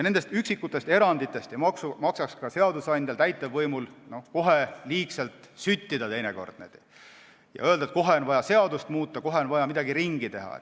Nendest üksikutest eranditest ei maksaks seadusandjal ja täitevvõimul liigselt süttida ja öelda, et kohe on vaja seadust muuta, kohe on vaja midagi ümber teha.